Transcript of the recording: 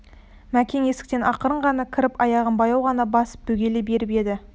мәкен есіктен ақырын ғана кіріп аяғын баяу ғана басып бөгеле беріп еді